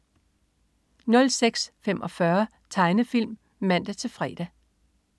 06.45 Tegnefilm (man-fre)